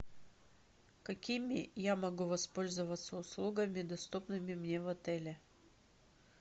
какими я могу воспользоваться услугами доступными мне в отеле